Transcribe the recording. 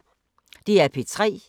DR P3